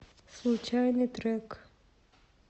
случайный трек